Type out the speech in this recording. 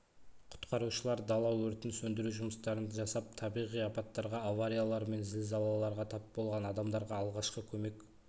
құтқарушылар дала өртін сөндіру жұмыстарын жасап табиғи апаттарға авариялар мен зілзалаларға тап болған адамдарға алғашқы көмек